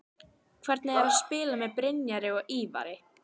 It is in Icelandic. Hvernig er að spila með Brynjari og Ívari?